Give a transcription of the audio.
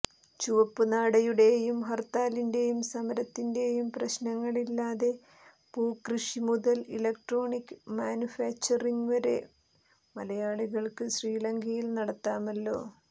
ചുവപ്പുനാടയുടെയും ഹർത്താലിന്റെയും സമരത്തിന്റെയും പ്രശ്നങ്ങളില്ലാതെ പൂക്കൃഷി മുതൽ ഇലക്ട്രോണിക്ക് മാനുഫാക്ചറിംഗ് വരെ മലയാളികൾക്ക് ശ്രീലങ്കയിൽ നടത്താമല്ലോ